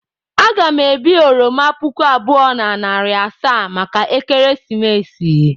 Aga m ebi oroma puku abụọ na narị asaa maka ekeresimesi.